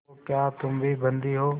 तो क्या तुम भी बंदी हो